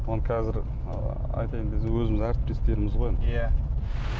оны қазір ы айтайын десең өзіміздің әріптестеріміз ғой енді иә